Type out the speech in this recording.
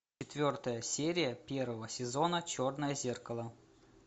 четвертая серия первого сезона черное зеркало